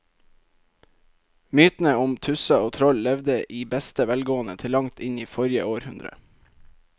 Mytene om tusser og troll levde i beste velgående til langt inn i forrige århundre.